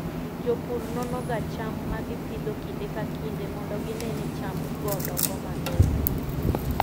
Jopur nonoga cham ma gipidho kinde ka kinde mondo gine ni chamgo dongo maber.